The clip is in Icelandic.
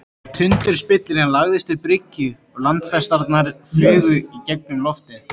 Tundurspillirinn lagðist að bryggju og landfestarnar flugu í gegnum loftið.